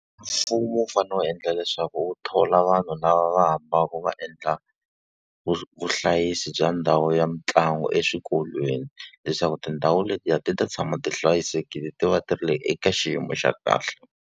Mfumo wu fanele wu endla leswaku wu thola vanhu lava va fambaka va endla vuhlayisi bya ndhawu ya mitlangu eswikolweni. Leswaku tindhawu letiya ti ta tshama ti hlayisekile ti va ti ri eka xiyimo xa kahle.